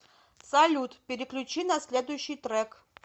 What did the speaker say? салют переключи на следущий трек